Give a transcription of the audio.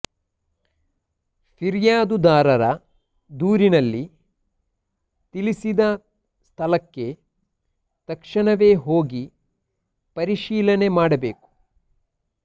ಫಿರ್ಯಾದುದಾರ ದೂರಿನಲ್ಲಿ ತಿಳಿಸಿದ ಸ್ಥಳಕ್ಕೆ ತಕ್ಷಣವೇ ಹೋಗಿ ಪರಿಶೀಲನೆ ಮಾಡಬೇಕು